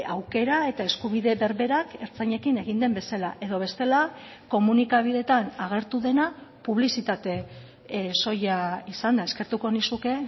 aukera eta eskubide berberak ertzainekin egin den bezala edo bestela komunikabideetan agertu dena publizitate soila izan da eskertuko nizuke